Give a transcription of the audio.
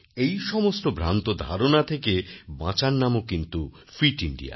এই সমস্ত ভ্রান্ত ধারণা থেকে বাঁচার নামও কিন্তু ফিট ইন্ডিয়া